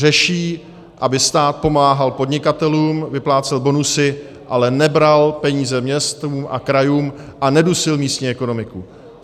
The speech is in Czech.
Řeší, aby stát pomáhal podnikatelům, vyplácel bonusy, ale nebral peníze městům a krajům a nedusil místní ekonomiku.